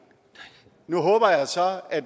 nu håber jeg så at